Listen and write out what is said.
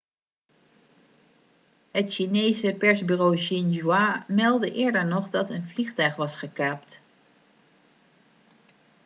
het chinese persbureau xinhua meldde eerder nog dat een vliegtuig was gekaapt